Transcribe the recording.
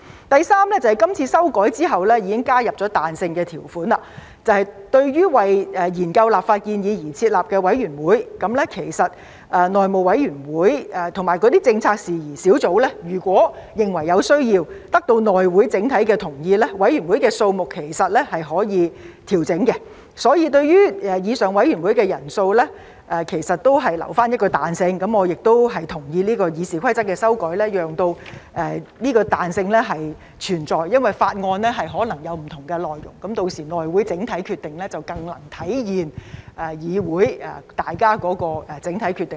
第三是今次修改後，已加入彈性條款，對於為研究立法建議而成立的委員會，其實內會和政策事宜小組委員會如果認為有需要，並得到內會整體的同意，委員會的人數是可以調整的，所以對於以上委員會的人數其實已預留彈性，我亦同意這項《議事規則》的修改，讓這彈性存在，因為法案可能有不同的內容，屆時內會整體決定則更能體現議會的整體決定。